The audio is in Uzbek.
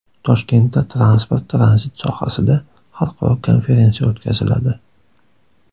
Toshkentda transport-tranzit sohasida xalqaro konferensiya o‘tkaziladi.